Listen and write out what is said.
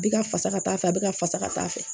Bɛ ka fasa ka taa fɛ a bɛ ka fasa ka taa fɛ